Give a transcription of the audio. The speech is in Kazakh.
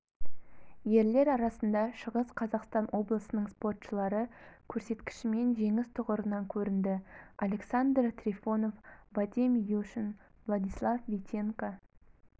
ерлер арасында шығыс қазақстан облысының спортшылары көрсеткішімен жеңіс тұғырынан көрінді александр трифонов вадим юшин владислав витенко